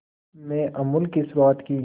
में अमूल की शुरुआत की